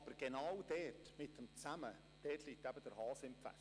Aber genau bei dem «zusammen» liegt der Hase im Pfeffer.